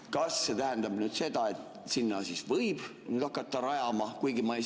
Kas see tähendab nüüd seda, et sinna võib hakata rajama?